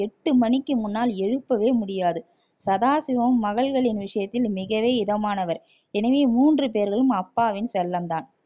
எட்டு மணிக்கு முன்னால் எழுப்பவே முடியாது சதாசிவம் மகள்களின் விஷயத்தில் மிகவே இதமானவர் எனவே மூன்று பேர்களும் அப்பாவின் செல்லம் தான்